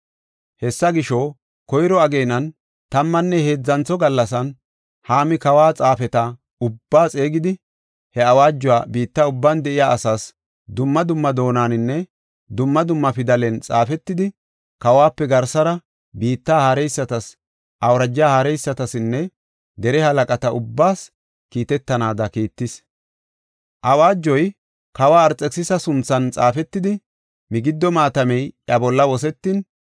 Hessa gisho, koyro ageenan, tammanne heedzantho gallasan, Haami kawa xaafeta ubbaa xeegidi, he awaajoy biitta ubban de7iya asaas dumma dumma doonaninne dumma dumma pidalen xaafetidi, kawope garsara biitta haareysatas, awuraja haareysatasinne dere halaqata ubbaas kiitetanaada kiittis. Awaajoy kawa Arxekisisa sunthan xaafetidi, migiddo maatamey iya bolla wosetin,